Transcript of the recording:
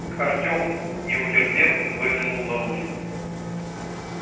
артем не утерпев выглянул наружу